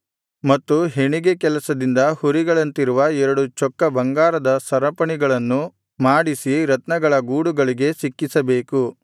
ಮತ್ತು ಹೆಣಿಗೆ ಕೆಲಸದಿಂದ ಹುರಿಗಳಂತಿರುವ ಎರಡು ಚೊಕ್ಕ ಬಂಗಾರದ ಸರಪಣಿಗಳನ್ನು ಮಾಡಿಸಿ ರತ್ನಗಳ ಗೂಡುಗಳಿಗೆ ಸಿಕ್ಕಿಸಬೇಕು